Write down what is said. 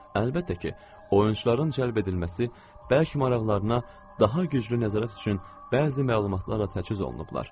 Əlbəttə ki, oyunçuların cəlb edilməsi bəlkə maraqlarına daha güclü nəzarət üçün bəzi məlumatlarla təchiz olunublar.